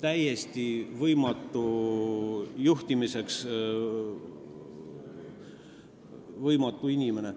juhtimiseks täiesti suutmatu inimene.